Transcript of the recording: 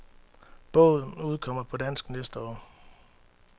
Bogen udkommer på dansk næste år.